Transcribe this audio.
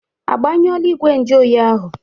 Ị gbanyọọla igwe njụ oyi ahụ?